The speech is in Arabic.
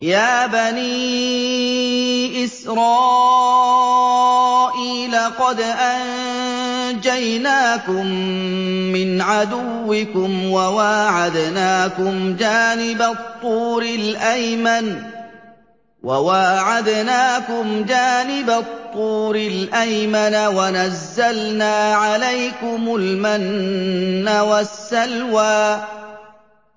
يَا بَنِي إِسْرَائِيلَ قَدْ أَنجَيْنَاكُم مِّنْ عَدُوِّكُمْ وَوَاعَدْنَاكُمْ جَانِبَ الطُّورِ الْأَيْمَنَ وَنَزَّلْنَا عَلَيْكُمُ الْمَنَّ وَالسَّلْوَىٰ